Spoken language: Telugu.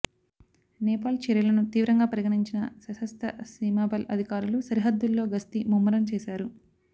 నేపాల్ చర్యలను తీవ్రంగా పరిగణించిన సశస్త్ర సీమాబల్ అధికారులు సరిహద్దుల్లో గస్తీ ముమ్మరం చేశారు